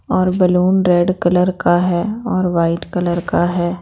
और balloon red colour का है और वाइट कलर का है।